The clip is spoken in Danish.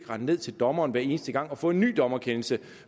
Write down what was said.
rende ned til dommeren hver eneste gang og få en ny dommerkendelse